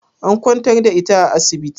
An kwantar da ita a asibiti?